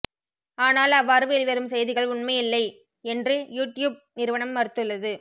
ஆனால் அவ்வாறு வெளிவரும் செய்திகள் உண்மையில்லை என்று யூட்யூப் நிறுவனம் மறுத்துள்ளது